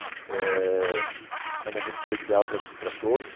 Eh é um momento especial para para todos.